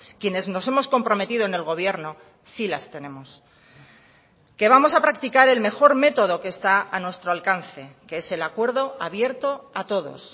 quienes nos hemos comprometido en el gobierno sí las tenemos que vamos a practicar el mejor método que está a nuestro alcance que es el acuerdo abierto a todos